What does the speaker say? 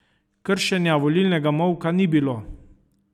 Kršenja volilnega molka ni bilo.